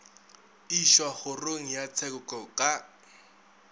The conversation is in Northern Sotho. išwa kgorong ya tsheko ka